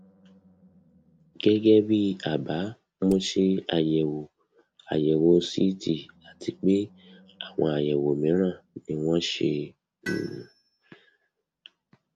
gẹgẹ bí àbá mo ṣe àyẹwò àyẹwò ct àti pé àwọn àyẹwò mìíràn ni wọn ṣe um